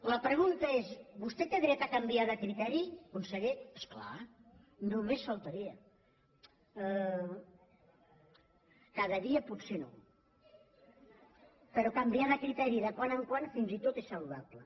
la pregunta és vostès té dret a canviar de criteri conseller és clar només faltaria cada dia potser no però canviar de criteri de tant en tant fins i tot és saludable